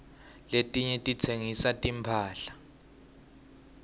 letinye titsengisa timphahla